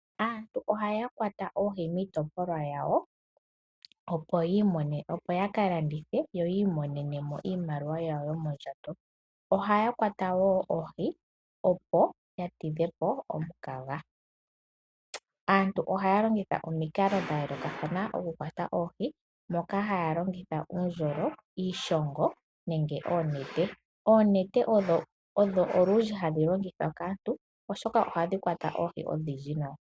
Aantu ohaya kwata oohi miitopolwa yawo, opo ya ka landithe yi imonene mo iimaliwa yawo yomondjato. Ohaya kwata wo oohi, opo ya tidhe po omukaga. Aantu ohaya longitha omikalo dha yoolokathana okukwata ooh, moka haa longitha uundjolo, iishongo nenge oonete. Oonete odho olundji hadhi longithwa kaantu, oshoka ohadhi kwata oohi odhindji nawa.